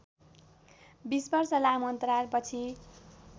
२० वर्ष लामो अन्तरालपछि